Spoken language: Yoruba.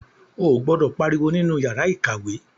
O gbọdọ pariwo nínú yàrá ìkàwé.